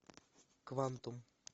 квантум